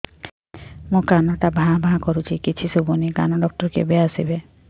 ମୋ କାନ ଟା ଭାଁ ଭାଁ କରୁଛି କିଛି ଶୁଭୁନି କାନ ଡକ୍ଟର କେବେ ଆସିବେ